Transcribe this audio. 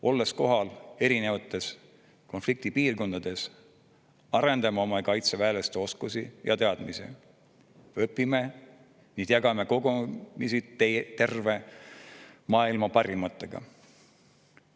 Olles kohal erinevates konfliktipiirkondades, arendame oma kaitseväelaste oskusi ja teadmisi, õpime, jagame kogemusi terve maailma parimatega.